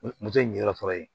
Moto ɲinyɔrɔ fɔlɔ ye